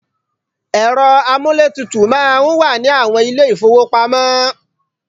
Ẹ̀rọ amúlétutù máa ń wà ní àwọn ilé-ìfówopamọ́.